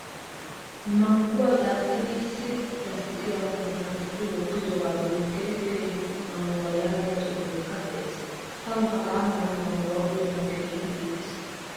Mangguwaa daaxxidi issi lasttiqiya koddan tuccidi wottoga bollan KK mangguwaa yaagiyaa xuufekka de'ees. Tawu hagaa mala mangguwaa uyanawu keehin iittees.